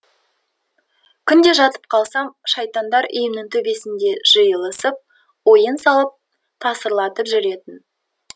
күнде жатып қалсам шайтандар үйімнің төбесінде жиылысып ойын салып тасырлатып жүретін